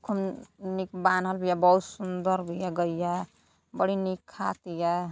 निक बान्हल बिया बहुत सुदर बिया गईया बड़ी नीक खातिया।